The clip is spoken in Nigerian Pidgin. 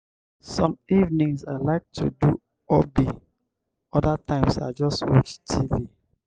some evenings i like to do hobby; other times i just watch tv.